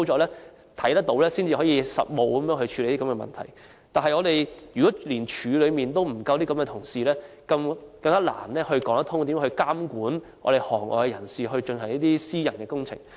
然而，如果現在連水務署內也沒有足夠的資深人員，更難說得通要如何監管行內人士進行私人工程。